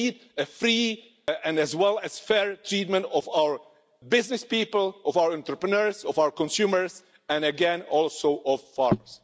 So we need a free and, as well, a fair treatment of our business people, of our entrepreneurs, of our consumers, and again also of farmers.